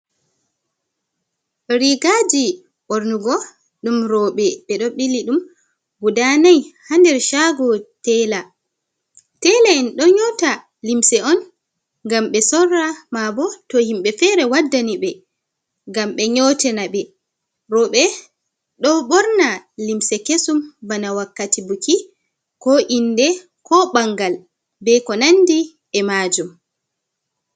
Rigaji ɓornugo ɗum roɓe, ɓedo ɓili ɗum guda nai ha nder shago tela, tela'en ɗo nyota limse on gam ɓe sorra, mabo to himɓe fere waddani ɓe ngam ɓe nyotina ɓe roɓe, ɗo ɓorna limse kesum bana wakkati buki, ko inde, ko ɓangal be ko nandi e majum.